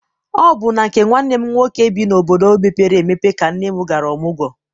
Ọ bụ na nke nwanne m nwoke bi n'obodo mepere emepe ka nne m gara ọmụgwọ.